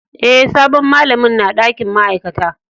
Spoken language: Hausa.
Eh, sabon malamin na dakin ma'aikata.